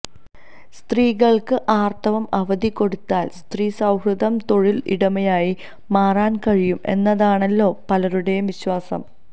സ്ത്രീകള്ക്ക് ആര്ത്തവ അവധി കൊടുത്താല് സ്ത്രീസൌഹൃദ തൊഴില് ഇടമായി മാറാന് കഴിയും എന്നതാണല്ലോ പലരുടെയും വിശ്വാസം